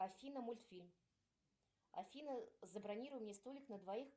афина мультфильм афина забронируй мне столик на двоих